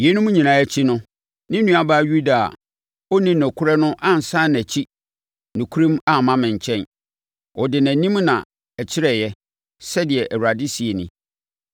Yeinom nyinaa akyi no, ne nuabaa Yuda a ɔnni nokorɛ no ansane nʼakyi nokorɛm amma me nkyɛn. Ɔde nʼanim na ɛkyerɛeɛ,” sɛdeɛ Awurade seɛ nie.